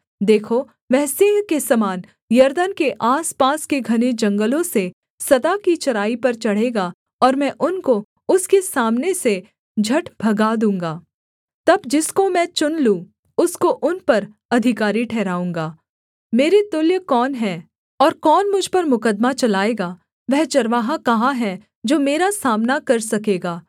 देखो वह सिंह के समान यरदन के आसपास के घने जंगलों से सदा की चराई पर चढ़ेगा और मैं उनको उसके सामने से झट भगा दूँगा तब जिसको मैं चुन लूँ उसको उन पर अधिकारी ठहराऊँगा मेरे तुल्य कौन है और कौन मुझ पर मुकद्दमा चलाएगा वह चरवाहा कहाँ है जो मेरा सामना कर सकेगा